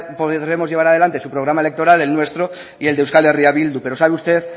podremos llevar adelante su programa electoral el nuestro y el de euskal herria bildu pero sabe usted